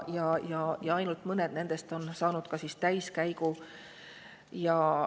Ainult mõned nendest on saanud täiskäigu.